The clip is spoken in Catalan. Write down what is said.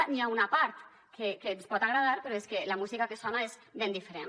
n’hi ha una part que ens pot agradar però és que la música que sona és ben diferent